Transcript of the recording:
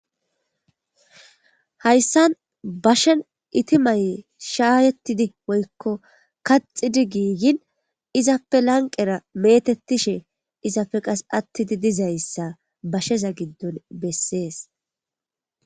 Hayssan bashen itimaye shaayettidi woykko kaxidi giigin izafe lanqera metettishe izafe qas attidi dizayssa bashsheza giddon bessees